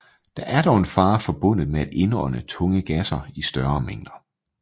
Der er dog en fare forbundet med at indånde tunge gasser i større mængder